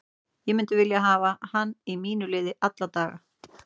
Ég myndi vilja hafa hann í mínu liði alla daga.